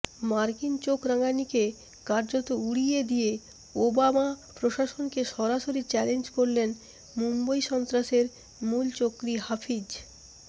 মার্কিন চোখ রাঙানিকে কার্যত উড়িয়ে দিয়ে ওবামা প্রশাসনকে সরাসরি চ্যালেঞ্জ করলেন মুম্বই সন্ত্রাসের মূলচক্রী হাফিজ